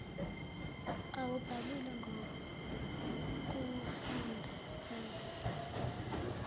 awubhalile ngokuwufunda bezwe